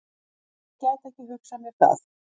Nei, ég gæti ekki hugsað mér það.